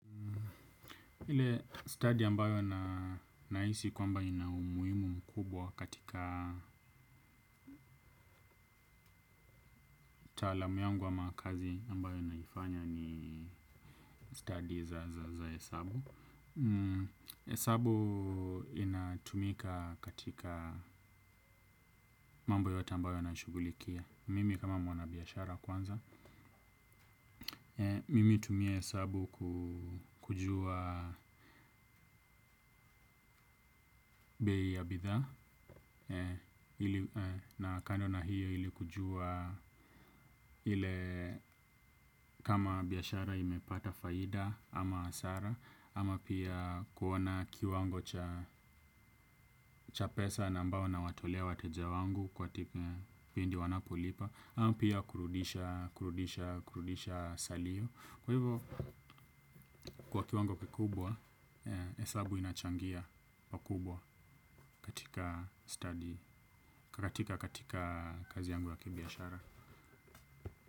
Ile study ambayo na naisi kwamba inaumuimu mkubwa katika taalamu yangu ama kazi ambayo naifanya ni study za hesabu. Hesabu inatumika katika mambo yote ambayo na nashugulikia. Mimi kama mwana biashara kwanza. Mimi tumia hesabu kujua bei ya bidhaa. Na kando na hiyo ili kujua ile kama biashara imepata faida ama hasara ama pia kuona kiwango cha cha pesa na ambao nawatolea wateja wangu kwa tipi pindi wanapolipa ama pia kurudisha, kurudisha, kurudisha salio. Kwa hivyo kwa kiwango kikubwa, hesabu inachangia pakubwa katika study, katika kazi yangu ya kibiashara.